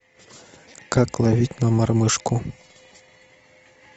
как ловить на мормышку